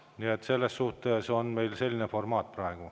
Nii et meil on praegu selline formaat.